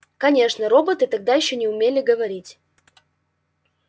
конечно роботы тогда ещё не умели говорить